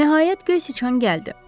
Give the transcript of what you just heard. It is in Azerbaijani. Nəhayət, göy siçan gəldi.